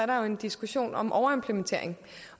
der er en diskussion om overimplementering